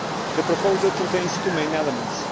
The proposal contains two main elements.